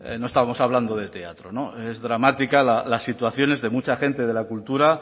no estamos hablando de teatro es dramática las situaciones de mucha gente de la cultura